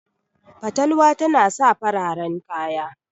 fatalwa tana sa fararen kaya